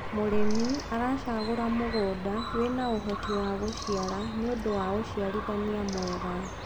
mũrĩmi aracagura mũgũnda wina uhoti wa guciara nĩũndũ wa uciarithanĩa mwega